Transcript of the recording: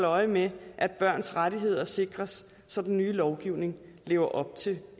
øje med at børns rettigheder sikres så den nye lovgivning lever op til